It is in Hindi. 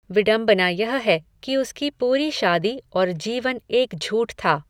विडंबना यह है कि उसकी पूरी शादी और जीवन एक झूठ था।